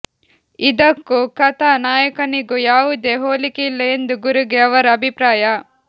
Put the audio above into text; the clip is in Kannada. ಇದಕ್ಕೂ ಕಥಾ ನಾಯಕನಿಗೂ ಯಾವುದೇ ಹೋಲಿಕೆಯಿಲ್ಲ ಎಂದು ಗುರುಗೆ ಅವರ ಅಭಿಪ್ರಾಯ